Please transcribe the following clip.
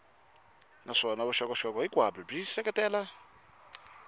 naswona vuxokoxoko hinkwabyo byi seketela